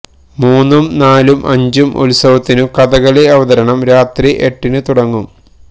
മൂന്നും നാലും അഞ്ചും ഉത്സവത്തിനു കഥകളി അവതരണം രാത്രി എട്ടിനു തുടങ്ങും